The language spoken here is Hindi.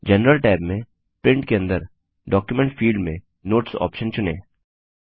जनरल टैब में प्रिंट के अंदर डॉक्यूमेंट फिल्ड में नोट्स ऑप्शन चुनें